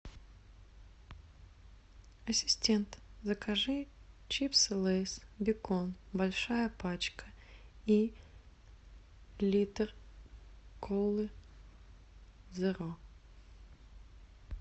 ассистент закажи чипсы лейс бекон большая пачка и литр колы зеро